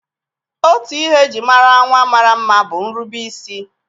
Otu ihe e ji mara nwa mara mma bụ nrubeisi.